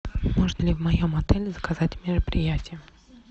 можно ли в моем отеле заказать мероприятие